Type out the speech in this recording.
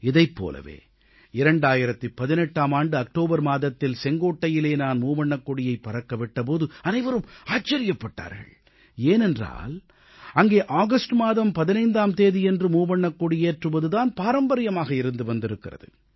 இதைப் போலவே 2018ஆம் ஆண்டு அக்டோபர் மாதத்தில் செங்கோட்டையிலே நான் மூவர்ணக் கொடியைப் பறக்க விட்ட போது அனைவரும் ஆச்சரியப்பட்டார்கள் ஏனென்றால் அங்கே ஆகஸ்ட் மாதம் 15ஆம் தேதியன்று மூவண்ணக் கொடியேற்றுவது தான் பாரம்பரியமாக இருந்து வந்திருக்கிறது